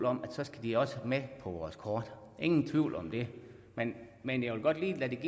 om at så skal de også med på vores kort ingen tvivl om det men men jeg vil godt lige give